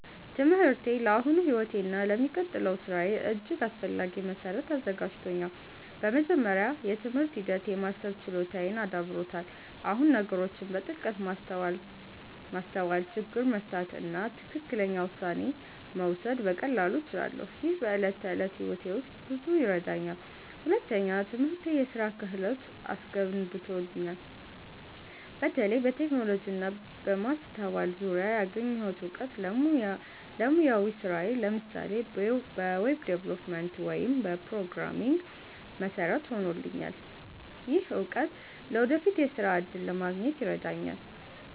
ትምህርቴ ለአሁኑ ሕይወቴ እና ለሚቀጥለው ሥራዬ እጅግ አስፈላጊ መሠረት አዘጋጅቶኛል። በመጀመሪያ፣ የትምህርት ሂደት የማሰብ ችሎታዬን አዳብሮታል። አሁን ነገሮችን በጥልቀት ማስተዋል፣ ችግር መፍታት እና ትክክለኛ ውሳኔ መውሰድ በቀላሉ እችላለሁ። ይህ በዕለት ተዕለት ሕይወቴ ውስጥ ብዙ ይረዳኛል። ሁለተኛ፣ ትምህርቴ የስራ ክህሎት አስገንብቶኛል። በተለይ በቴክኖሎጂ እና በማስተዋል ዙሪያ ያገኘሁት እውቀት ለሙያዊ ስራዬ (ለምሳሌ በweb development ወይም programming) መሠረት ሆኖልኛል። ይህ እውቀት ለወደፊት የሥራ እድል ለማግኘት ይረዳኛል።